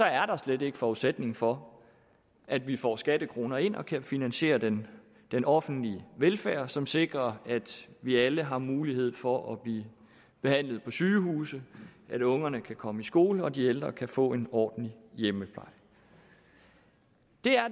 er der slet ikke forudsætning for at vi får skattekroner ind og kan finansiere den den offentlige velfærd som sikrer at vi alle har mulighed for at blive behandlet på sygehuset at ungerne kan komme i skole og de ældre kan få en ordentlig hjemmepleje det